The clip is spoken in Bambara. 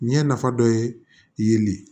Ɲɛ nafa dɔ yeli ye